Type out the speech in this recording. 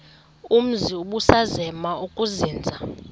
umzi ubusazema ukuzinza